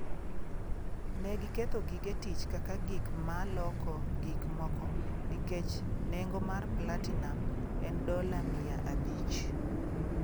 “Ne giketho, gige tich kaka gik ma loko gik moko nikech nengo mar platinum en dola mia abich.”